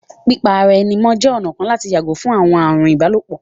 Pípa ara ẹni mọ́ jẹ́ ọ̀nà kan láti yàgò fún àwọn ààrùn ìbálòpọ̀